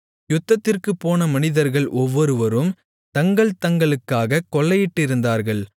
யுத்தத்திற்குப் போன மனிதர்கள் ஒவ்வொருவரும் தங்கள் தங்களுக்காக கொள்ளையிட்டிருந்தார்கள்